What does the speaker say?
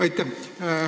Aitäh!